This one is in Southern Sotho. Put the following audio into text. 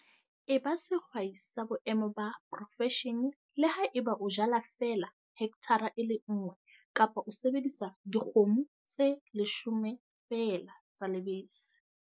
E ba sehwai sa boemo ba profeshene le haeba o jala feela hekthara e le nngwe kapa o sebedisa dikgomo tse leshome feela tsa lebese.